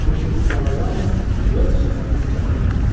Çünki bu suala yalnız Uels Şahzadəsi cavab verə bilər.